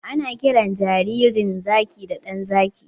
Ana kiran jaririn zaki da 'ɗan zaki'